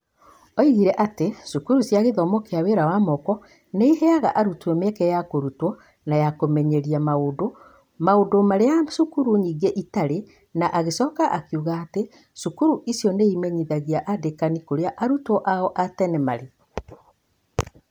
Oigire atĩ, cukuru cia gĩthomo kĩa wĩra wa moko nĩ iheaga arutwo mĩeke ya kũrutwa na ya kũmenyeria maũndũ, maũndũ marĩa cukuru nyingĩ itarĩ, na agĩcoka akiuga atĩ, cukuru icio nĩ imenyitagia andĩkani kurĩa arutwo ao a tene marĩ.